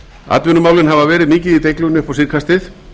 atvinnumálin hafa verið mikið í deiglunni upp á síðkastið